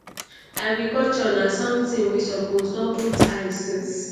"agriculture na somtin we suppose don put eye since.